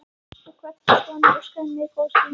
Við kvöddumst og hann óskaði mér góðs gengis.